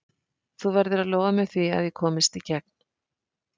Þú verður að lofa mér því að ég komist í gegn.